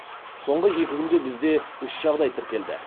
соңғы екі күнде бізде үш жағдай тіркелді